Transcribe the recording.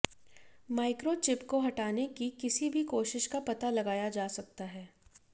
microchip को हटाने की किसी भी कोशिश का पता लगाया जा सकता है